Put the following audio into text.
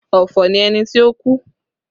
Ọ̀fọ̀ ni ẹni ti ó kú